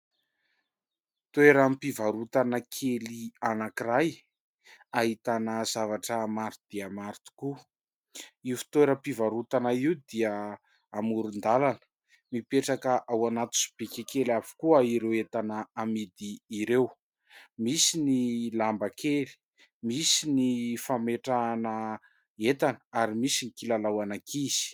Toeram-pivarotana kely anankiray ahitana zavatra maro dia maro tokoa. Io fitoeram-pivarotana io dia amoron-dalana mipetraka ao anaty sobika kely avokoa ireo entana amidy ireo. Misy ny lamba kely, misy ny fametrahana entana ary misy ny kilalao an'ankizy.